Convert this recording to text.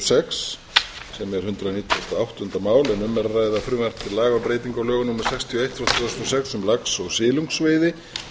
til laga um breytingu á lögum númer sextíu og eitt tvö þúsund og sex um lax og silungsveiði